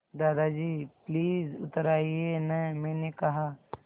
दादाजी प्लीज़ उतर आइये न मैंने कहा